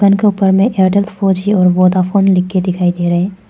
दुकान के ऊपर में एयरटेल फॉर जी और वोडाफोन लिख के दिखाई दे रहे हैं।